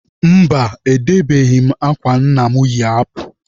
Mba, edebeghị m akwa nna mụ yi apụ.